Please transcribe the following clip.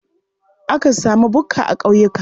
Akan sami bukka a ƙauyuka.